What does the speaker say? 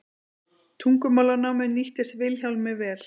Tungumálanámið nýttist Vilhjálmi vel.